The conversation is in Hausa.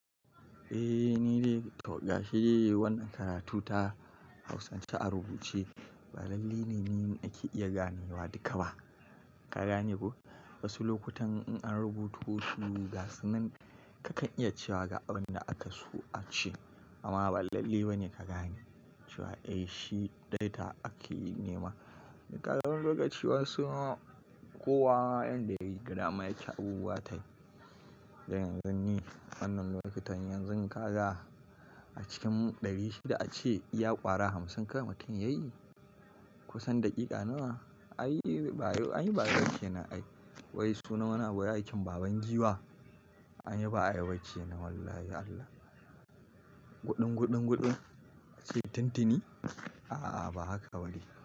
Eh, ni ne. To ga shidai, wannan karatu ta hausance a rubuce ba lalle ne, nima ake iya ganewa duka ba. Ka gane ko? Wasu lokutan in an rubuto wasu gasunan kakan iya cewa ga abin da aka so a ce amma ba lalle ba ne ka gane cewa eh shi data ake nema. Nikaga riga cewa suna kowa yanda yayi girma yake abubuwa tayi. Dan yanzu ni wannan lokutan yanzu kaza a cikin ɗari shida a ce ya ƙara hamsin kai mutum yayi? Kusan daƙiƙa nawa? Anyi ba ayiba kenan ai. Wai suna wani abu aikin baban giwa anyi ba ayiba ke nan wallahi Allah. Guɗin, guɗin, guɗin, ace tuntuni? A'a ba haka ba ne.